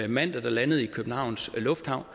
mandag landede i københavns lufthavn